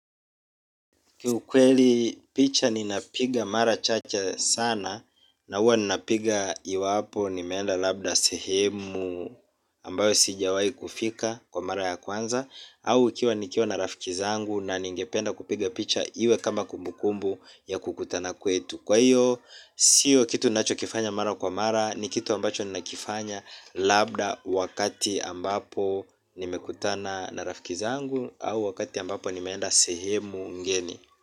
Kiukweli picha ninapiga mara chache sana na huwa ninapiga iwapo nimeenda labda sehemu ambayo sijawahi kufika kwa mara ya kwanza. Au ikiwa nikiwa na rafiki zangu na ningependa kupiga picha iwe kama kumbukumbu ya kukutana kwetu. Kwa hiyo sio kitu nachokifanya mara kwa mara ni kitu ambacho ninakifanya labda wakati ambapo nimekutana na rafiki zangu au wakati ambapo nimeenda sehemu ngeni.